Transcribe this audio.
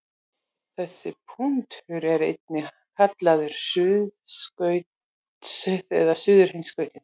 Þessi punktur er einnig kallaður suðurskautið eða suðurheimskautið.